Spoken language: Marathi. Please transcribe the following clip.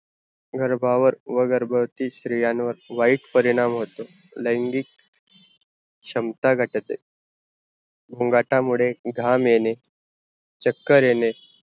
गर्भावर गर्भवती स्त्रियांवर वाइट परिणाम होतो, लायांगिक क्षमता घटते गोंगाटा मुडे घाम येने चक्कर येने